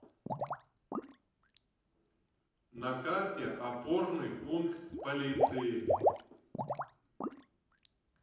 на карте опорный пункт полиции